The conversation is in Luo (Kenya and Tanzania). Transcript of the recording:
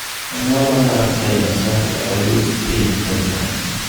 Anyuola mar Dinosaria oyud epiny Tanzania